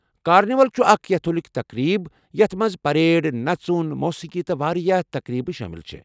Carnival چھُ اکھ Catholic تقریٖب یتھ مَنٛز پریڈ، نژُن، موسیٖقی تہٕ واریاہ تقریبہٕ شٲمِل چھے٘ ۔